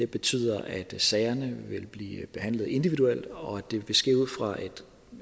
betyder at sagerne vil blive behandlet individuelt og